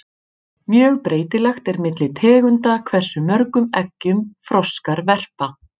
Mjög breytilegt er milli tegunda hversu mörgum eggjum froskar verpa.